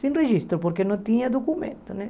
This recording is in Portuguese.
Sem registro, porque não tinha documento, né?